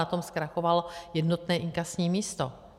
Na tom zkrachovalo jednotné inkasní místo.